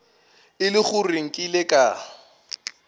e le gore nkile ka